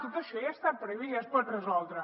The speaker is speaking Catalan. tot això ja està previst ja es pot resoldre